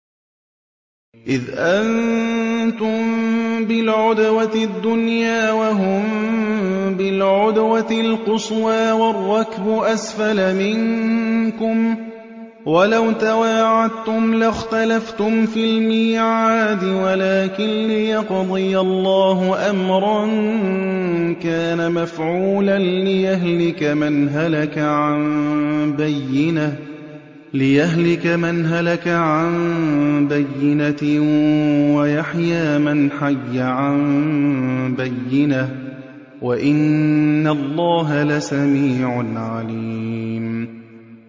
إِذْ أَنتُم بِالْعُدْوَةِ الدُّنْيَا وَهُم بِالْعُدْوَةِ الْقُصْوَىٰ وَالرَّكْبُ أَسْفَلَ مِنكُمْ ۚ وَلَوْ تَوَاعَدتُّمْ لَاخْتَلَفْتُمْ فِي الْمِيعَادِ ۙ وَلَٰكِن لِّيَقْضِيَ اللَّهُ أَمْرًا كَانَ مَفْعُولًا لِّيَهْلِكَ مَنْ هَلَكَ عَن بَيِّنَةٍ وَيَحْيَىٰ مَنْ حَيَّ عَن بَيِّنَةٍ ۗ وَإِنَّ اللَّهَ لَسَمِيعٌ عَلِيمٌ